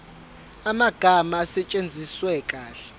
amagama asetshenziswe kahle